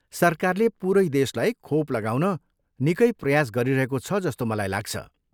सरकारले पुरै देशलाई खोप लगाउन निकै प्रयास गरिरहेको छ जस्तो मलाई लाग्छ।